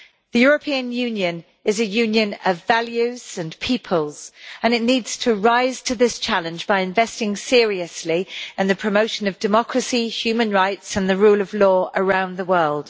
The European Union is a union of values and peoples, and it needs to rise to this challenge by investing seriously in the promotion of democracy, human rights and the rule of law around the world.